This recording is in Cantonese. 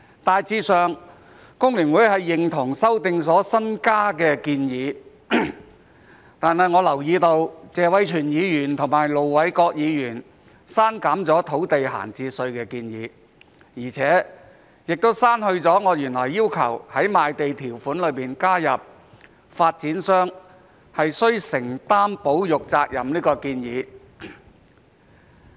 大致上，工聯會認同修正案的新增建議，但我留意到謝偉銓議員和盧偉國議員刪減了土地閒置稅的建議，也刪去了我原來要求在賣地條款中加入發展商須承擔保育責任的建議。